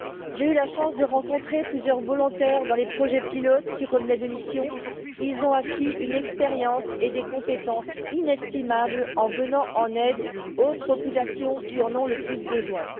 J'ai eu la chance de rencontrer plusieurs volontaires dans les projets pilotes, qui revenaient de mission ils ont acquis une expérience et des compétences inestimables en venant en aide aux populations qui en ont le plus besoin.